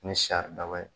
Ni sari daba ye